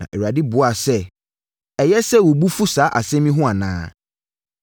Na Awurade buaa sɛ, “Ɛyɛ sɛ wo bo fu saa asɛm yi ho anaa?”